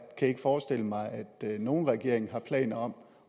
kan ikke forestille mig at nogen regering har planer om